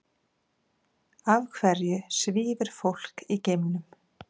Af hverju svífur fólk í geimnum?